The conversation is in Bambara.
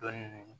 Dɔɔnin